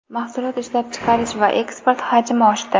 Mahsulot ishlab chiqarish va eksport hajmi oshdi.